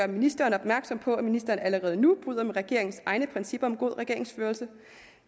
ministeren opmærksom på at ministeren allerede nu bryder med regeringens egne principper om god regeringsførelse